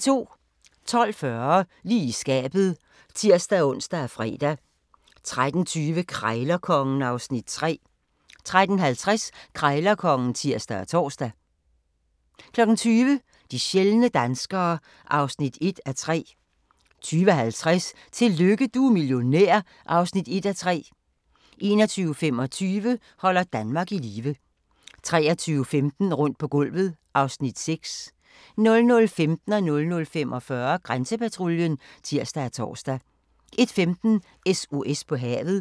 12:40: Lige i skabet (tir-ons og fre) 13:20: Krejlerkongen (Afs. 3) 13:50: Krejlerkongen (tir og tor) 20:00: De sjældne danskere (1:3) 20:50: Tillykke du er millionær (1:3) 21:25: Holder Danmark i live 23:15: Rundt på gulvet (Afs. 6) 00:15: Grænsepatruljen (tir og tor) 00:45: Grænsepatruljen (tir og tor) 01:15: SOS på havet